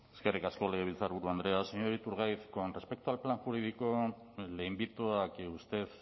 eskerrik asko legebiltzarburu andrea señor iturgaiz con respecto al plan jurídico le invito a que usted